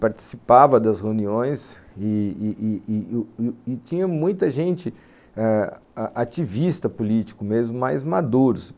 participava das reuniões e e e e e tinha muita gente, ativista político mesmo, mais maduros.